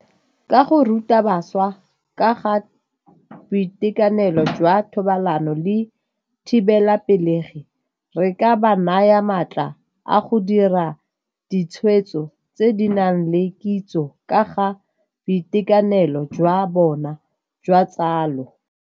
Ka go ruta bašwa ka ga boitekanelo jwa thobalano le thibelapelegi, re ka ba naya maatla a go dira ditshwetso tse di nang le kitso ka ga boitekanelo jwa bona jwa tsalo.